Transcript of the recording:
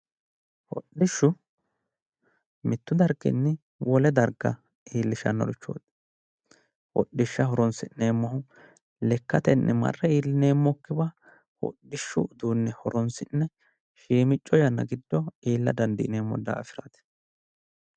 Hodhishshu mittu darginni wole darga iillishannorichooti, hodhishsha horonsi'neemmohu lekkatenni marre iillineemmokkiwa hodhishshu uduunne horonsi'ne shiimicco yanna giddo iilla dandiineemmo daafiraati